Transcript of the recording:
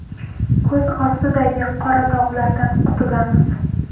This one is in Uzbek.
Ko‘z ostidagi qora dog‘lardan qutulamiz.